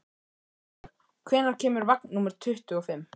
Arnlaug, hvenær kemur vagn númer tuttugu og fimm?